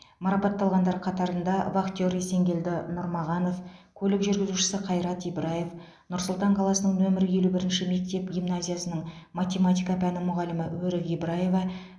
марапатталғандар қатарында вахтер есенгелді нұрмағанов көлік жүргізушісі қайрат ибраев нұр сұлтан қаласының нөмір елу бірінші мектеп гимназиясының математика пәні мұғалімі өрік ибраева